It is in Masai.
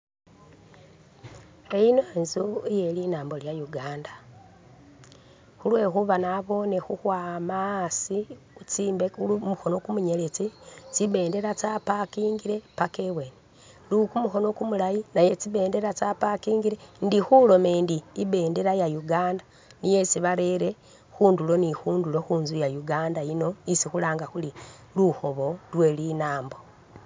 Iyino inzu iye linaambo lya'Uganda khulwekhuuba naboone khukhwama asi kuzimbe kumukoono kumunyeletsi tsibendela tsa pakingile paka ibweeni, kumukhono kumulaayi nakwa tsi bendeela tsa pakingile, ndi khuloma ndi i'bendeela iya Uganda niye isi barere khundulo ne khundulo khu'nzu iya Uganda yino isi khulanga khuri lukhoobo lwe linaambo